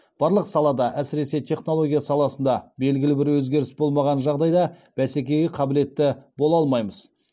барлық салада әсіресе технология саласында белгілі бір өзгеріс болмаған жағдайда бәсекеге қабілетті бола алмаймыз